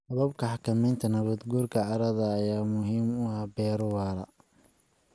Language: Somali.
Hababka xakamaynta nabaad guurka carrada ayaa muhiim u ah beero waara.